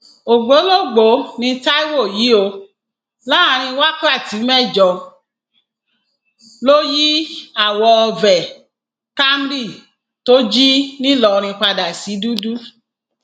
ògbólógbòó ní taiwo yìí o láàrin wákàtí mẹjọ ló yí àwo veh camry tó jí nìlọrin padà sí dúdú